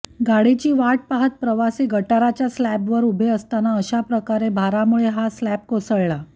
गाडीची वाट पाहत प्रवासी गटाराच्या स्लॅबवर उभे असताना अशाचप्रकारे भारामुळे हा स्लॅब कोसळला